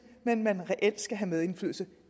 men at man reelt skal have medindflydelse